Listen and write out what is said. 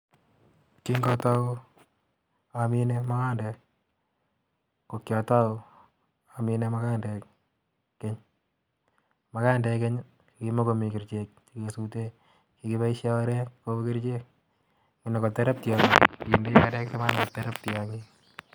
Kingo tou amine mugandek, ko kiotou amine magandek keny, magandek keny kimakomii kerichek nesute, kikipoishe orek kou kerichek anan terektianik ake ndei orek terektianik.